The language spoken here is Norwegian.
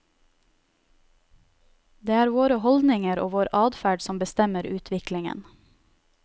Det er våre holdninger og vår adferd som bestemmer utviklingen.